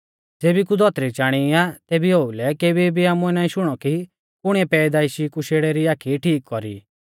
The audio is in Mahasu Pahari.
ज़ेबी कु धौतरी चाणी आ तेबी ओउलै केबी भी आमुऐ नाईं शुणौ कि कुणिऐ पैदाइशी कु शेड़ै री आखी ठीक कौरी ई